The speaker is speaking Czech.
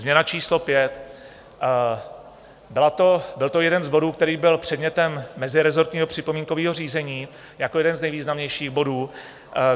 Změna číslo pět - byl to jeden z bodů, který byl předmětem mezirezortního připomínkového řízení jako jeden z nejvýznamnějších bodů.